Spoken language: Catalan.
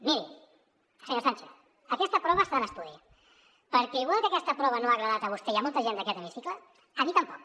miri senyor sánchez aquesta prova està en estudi perquè igual que aquesta prova no li ha agradat a vostè ni a molta gent d’aquest hemicicle a mi tampoc